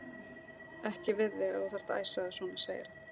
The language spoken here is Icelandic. Ég ræði ekki við þig ef þú þarft að æsa þig svona, segir hann.